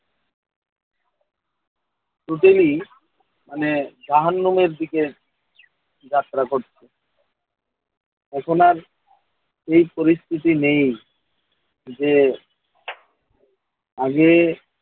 totally মানে জাহান্নামের দিকে যাত্রা করছে। এখন আর সেই পরিস্থিতি নেই যে আগে